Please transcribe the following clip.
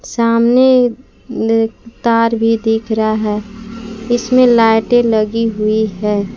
सामने तार भी दिख रहा है इसमें लाइटें लगी हुई है।